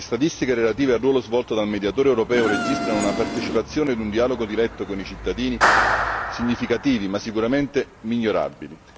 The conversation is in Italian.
Le statistiche relative al ruolo svolto dal Mediatore europeo registrano una partecipazione in un dialogo diretto con i cittadini significativi ma sicuramente migliorabili.